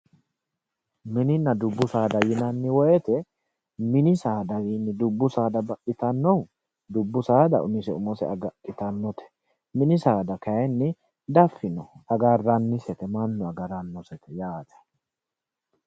Mininna dubbu saada yineemmo woyte mini saadawinni dubbu saada baxxittanohu ,dubbu saada umise umose agadhittanote, mini saada kayinni dafanni mannu agaranosete yaate.